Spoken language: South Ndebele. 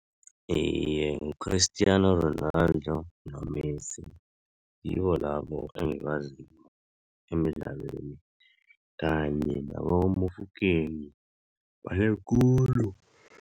Iye, ngu-Cristiano Ronaldo no-Messi ngibo labo engibaziko emdlalweni, kanye naboMofokeng banengi khulu.